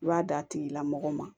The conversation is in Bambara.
I b'a d'a tigi la mɔgɔ ma